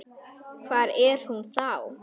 Hvar er hún þá?